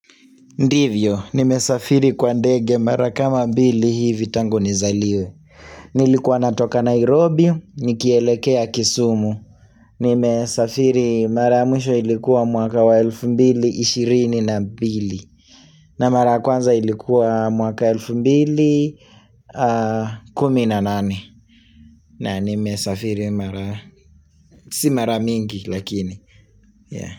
Ndivyo, nimesafiri kwa ndege mara kama mbili hivi tangu nizaliwe Nilikuwa natoka Nairobi, nikielekea kisumu Nimesafiri mara mwisho ilikuwa mwaka wa elfu mbili, ishirini na mbili na mara kwanza ilikuwa mwaka elfu mbili, kumi na nane na nimesafiri mara, si mara mingi lakini.